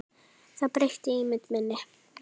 Það breytti ímynd minni.